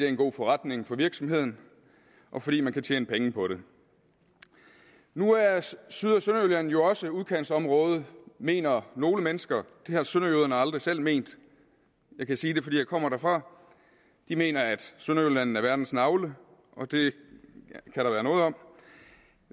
en god forretning for virksomheden og fordi man kan tjene penge på det nu er syd og sønderjylland jo også udkantsområder mener nogle mennesker det har sønderjyderne aldrig selv ment jeg kan sige det fordi jeg kommer derfra de mener at sønderjylland er verdens navle og det kan der være noget om